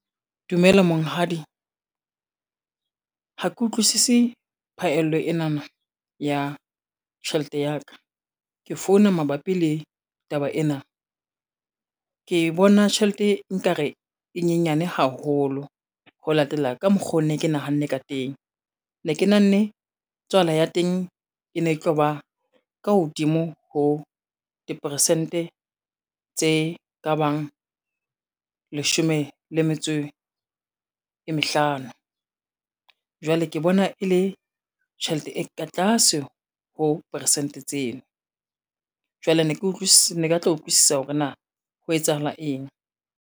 Dumela monghadi, ha ke utlwisisi phaello enana ya tjhelete ya ka, ke founa mabapi le taba ena. Ke bona tjhelete nkare e nyenyane haholo ho latela ka mokgo ne ke nahanne ka teng, ne ke nahanne tswala ya teng e ne tlo ba ka hodimo ho diperesente tse ka bang leshome le metso e mehlano. Jwale ke bona e le tjhelete e ka tlase ho peresente tseno, jwale ne ke batla ho utlwisisa hore na ho etsahala eng.